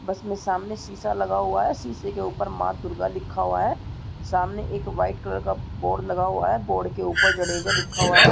बस में समाने शीशा लगा हुआ है शीशे के ऊपर माँ दुर्गा लिखा हुआ है सामने एक वाइट कलर का बोर्ड लगा हुआ है बोर्ड के ऊपर जडेजा लिखा हुआ है।